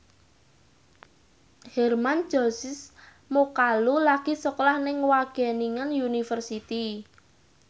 Hermann Josis Mokalu lagi sekolah nang Wageningen University